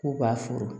K'u ka foro